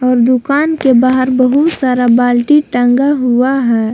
और दुकान के बाहर बहुत सारा बाल्टी टांगा हुआ है।